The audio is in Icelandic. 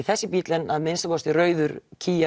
þessi bíll en að minnsta kosti rauður